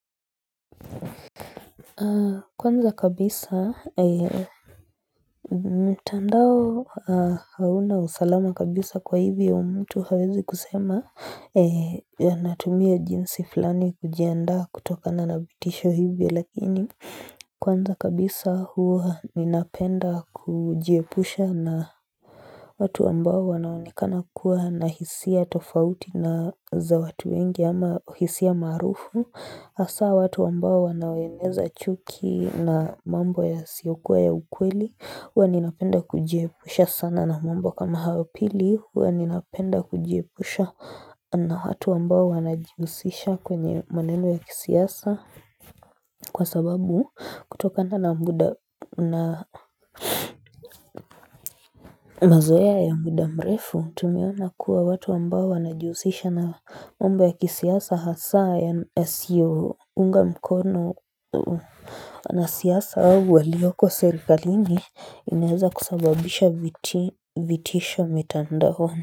Kwanza kabisa mtandao hauna usalama kabisa kwa hivyo mtu hawezi kusema natumia jinsi fulani kujianda kutokana na vitisho hivi lakini kwanza kabisa huwa ninapenda kujiepusha na watu ambao wanaonekana kuwa na hisia tofauti na za watu wengi ama hisia maarufu Hasa watu ambao wanaoeneza chuki na mambo yasiyokuwa ya ukweli. Huwa ninapenda kujiepusha sana na mambo kama hayo. Pili, huwa ninapenda kujiepusha na watu ambao wanajihusisha kwenye maneno ya kisiasa Kwa sababu kutokana na muda mazoea ya muda mrefu, tumeona kuwa watu ambao wanajihusisha na mambo ya kisiasa hasa na siasa au walioko serikalini inaweza kusababisha vitisho mitandaoni.